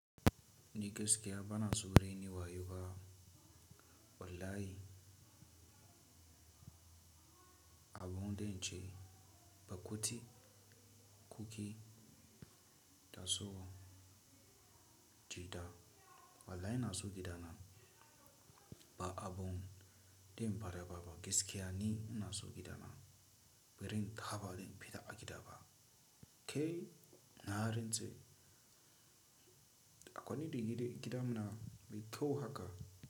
Ni gaskiya bana so rainin wayo ba. Wallahi abun dinnan ce, ba koti, kukki da so jita. Wallahi na so gida na ba abun da in fara ba. Gaske ya ni na so gida na birin kaba da in fita a gida ba. Ke na harin ce? Akwai ni da gidan mu na mai kyau haka.